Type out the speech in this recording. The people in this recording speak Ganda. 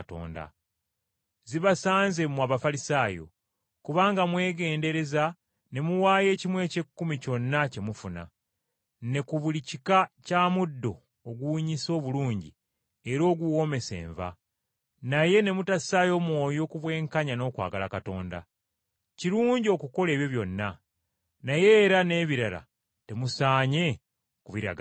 “Zibasanze mmwe Abafalisaayo! Kubanga muwaayo ekimu eky’ekkumi ku buli kyonna kye mufuna, ne ku buli kika kya muddo oguwunyisa obulungi era oguwoomesa enva, naye ne mutassaayo mwoyo ku bwenkanya n’okwagala Katonda. Kirungi okukola ebyo byonna, naye era n’ebirala temusaanye kubiragajjalira.